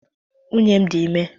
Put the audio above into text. Nwunye m dị ime